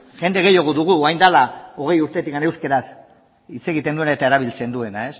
jende gehiago dugu orain dela hogei urtetik euskaraz hitz egiten duena eta erabiltzen duena